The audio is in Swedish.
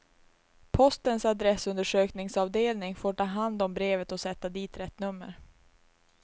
Postens adressundersökningsavdelning får ta hand om brevet och sätta dit rätt nummer.